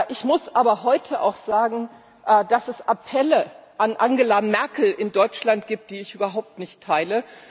Ich muss aber heute auch sagen, dass es Appelle an Angela Merkel in Deutschland gibt, die ich überhaupt nicht teile.